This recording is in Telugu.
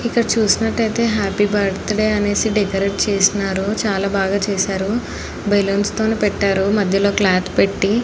ఇక్కడ చూసినట్లు ఐతే హ్యాపీ బర్త్డే అనేసి డెకరేట్ చేసినారు చాల బాగా చేసారు బలౌన్స్ తో పెట్టారు మధ్యలో క్లోత్ పెట్టి.